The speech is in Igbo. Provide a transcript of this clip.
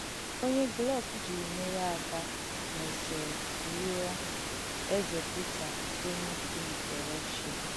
Onye Glück ji mèrē ádà mèsìrī lùọ̀ Èzē Pítà Onye Ùkwù nke Rùshià.